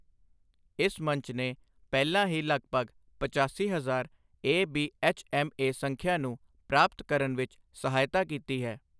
ਇਸ ਮੰਚ ਨੇ ਪਹਿਲਾਂ ਹੀ ਲਗਭਗ ਪਚਾਸੀ ਹਜ਼ਾਰ ਏਬੀਐੱਚਐੱਮਏ ਸੰਖਿਆ ਨੂੰ ਪ੍ਰਾਪਤ ਕਰਨ ਵਿੱਚ ਸਹਾਇਤਾ ਕੀਤੀ ਹੈ।